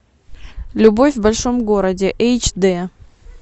любовь в большом городе эйч д